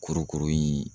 Kurukuru in